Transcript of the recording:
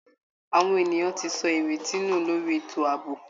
Àwọn ènìyàn ti sọ ìrètí nù lórí ètò ààbò